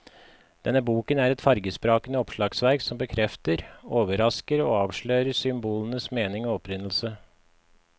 Denne boken er et fargesprakende oppslagsverk som bekrefter, overrasker og avslører symbolenes mening og opprinnelse.